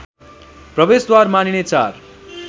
प्रवेशद्वार मानिने चार